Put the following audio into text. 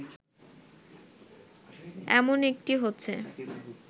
এমন একটি হচ্ছে